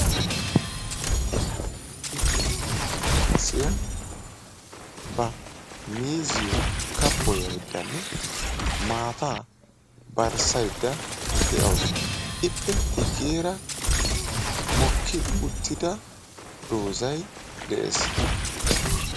Issi mino maccasiya ba miizziyo kabboyayddanne maataa barssaydda de'awusu. Ippe guyyeera mokki uttida dozay de'ees